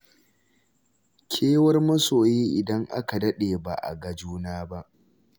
Kewar masoyi idan aka daɗe ba a ga juna ba.